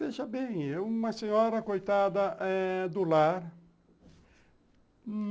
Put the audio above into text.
Veja bem, uma senhora coitada eh do lar.